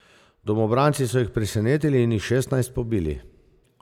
Domobranci so jih presenetili in jih šestnajst pobili.